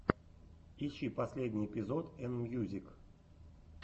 ищи последний эпизод энмьюзик